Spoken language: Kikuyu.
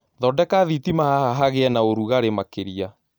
Thondeka thĩtĩma haha hagĩe naũrũgare makĩria